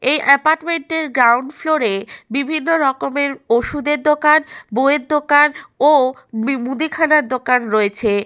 এই এপার্টমেন্ট -টির গ্রাউন্ড ফ্লোরে বিভিন্ন রকমের ওষুধের দোকান। বই এর দোকান ও মি মুদিখানার দোকান রয়েছে।